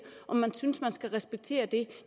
om man synes man skal respektere det